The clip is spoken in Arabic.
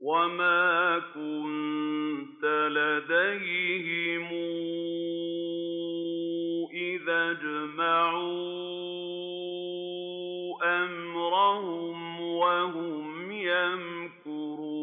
وَمَا كُنتَ لَدَيْهِمْ إِذْ أَجْمَعُوا أَمْرَهُمْ وَهُمْ يَمْكُرُونَ